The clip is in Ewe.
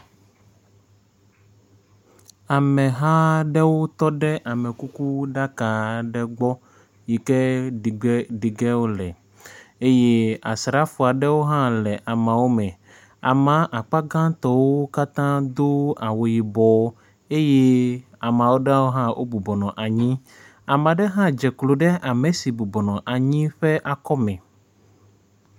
Ameha aɖewo tɔ ɖe amekukuɖaka aɖe gbɔ yi ke ɖige ɖige wole eye asrafo aɖewo hã le ameawo me. Amea akpa gãtɔwo katã do awu yibɔ eye ame aɖewo hã bɔbɔ nɔ anyi. Ame aɖe hã dze klo ɖe ame si bɔbɔ nɔ anyi la ƒe akɔme.